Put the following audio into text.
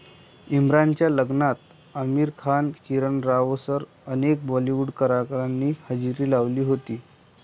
इम्रानच्या लग्नात आमिर खान, किरण रावसह अनेक बॉलिवूड कलाकारांनी हजेरी लावली होती.